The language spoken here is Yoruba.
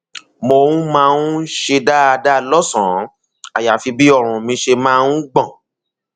mo um máa um ń ṣe dáadáa lọsànán àyàfi bí ọrùn mi ṣe máa um ń gbọn